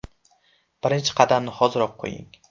Birinchi qadamni hoziroq qo‘ying!